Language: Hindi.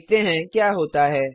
देखते हैं क्या होता है